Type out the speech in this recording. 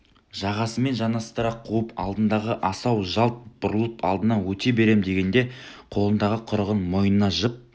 жағасымен жанастыра қуып алдындағы асау жалт бұрылып алдынан өте берем дегенде қолындағы құрығын мойнына жып